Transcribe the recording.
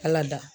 Ala dada